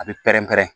A bɛ pɛrɛn-pɛrɛn